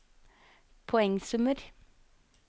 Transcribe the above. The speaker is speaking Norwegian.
poengsummer